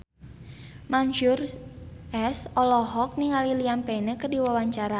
Mansyur S olohok ningali Liam Payne keur diwawancara